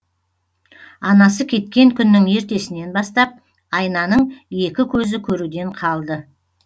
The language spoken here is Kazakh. анасы кеткен күннің ертесінен бастап айнаның екі көзі көруден қалды